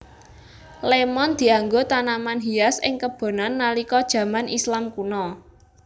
Lémon dianggo tanaman hias ing kebonan nalika jaman Islam kuna